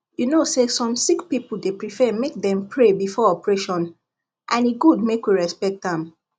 you know say some sick people dey prefer make dem pray before operation and e good make we respect am